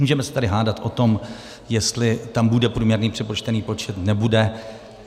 Můžeme se tady hádat o tom, jestli tam bude průměrný přepočtený počet, nebude.